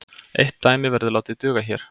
Eitt dæmi verður látið duga hér.